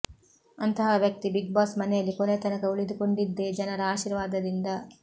ಅಂತಹ ವ್ಯಕ್ತಿ ಬಿಗ್ಬಾಸ್ ಮನೆಯಲ್ಲಿ ಕೊನೆ ತನಕ ಉಳಿದುಕೊಂಡಿದ್ದೇ ಜನರ ಆಶೀರ್ವಾದದಿಂದ